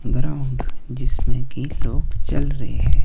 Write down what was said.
Ground जिसमें की लोग चल रहे हैं।